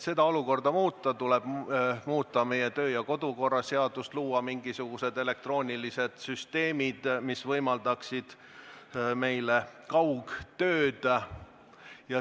Et olukorda muuta, tuleks muuta meie kodu- ja töökorra seadust, luua mingisugused elektroonilised süsteemid, mis võimaldaksid meile kaugtööd.